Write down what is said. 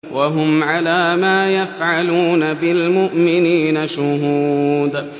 وَهُمْ عَلَىٰ مَا يَفْعَلُونَ بِالْمُؤْمِنِينَ شُهُودٌ